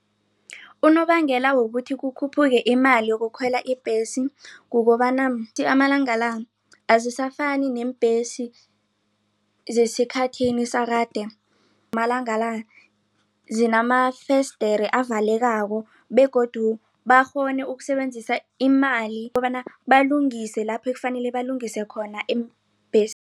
Unobangela wokuthi kukhuphuke imali yokukhwela ibhesi. Kukobana amalanga la azisafani neembhesi zesikhathini sakade malanga la zinamafesidere avalekako begodu bakghone ukusebenzisa imali ukobana balungise lapho ekufanele balungise khona